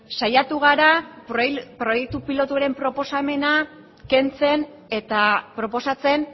saiatu gara proiektu pilotuaren proposamena kentzen eta proposatzen